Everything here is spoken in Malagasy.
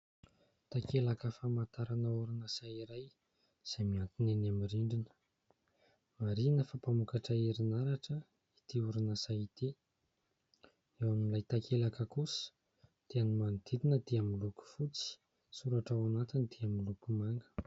Takelaka famantarana orinasa iray izay miantona eny amin'ny rindrina. Marihina fa mpamokatra herinaratra itỳ orinasa itỳ. Eo amin'ilay takelaka kosa dia ny manodidina dia miloko fotsy, soratra ao anatiny dia miloko manga.